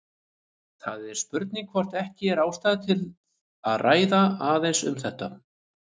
Það er spurning hvort ekki er ástæða til að ræða aðeins um þetta.